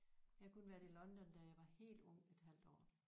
Jeg har kun været i London da jeg var helt ung et halvt år